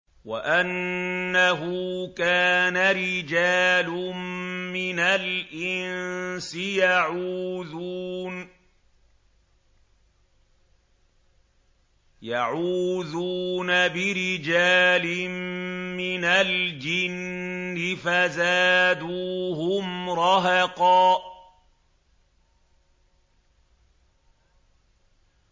وَأَنَّهُ كَانَ رِجَالٌ مِّنَ الْإِنسِ يَعُوذُونَ بِرِجَالٍ مِّنَ الْجِنِّ فَزَادُوهُمْ رَهَقًا